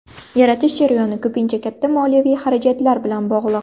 Yaratish jarayoni ko‘pincha katta moliyaviy xarajatlar bilan bog‘liq.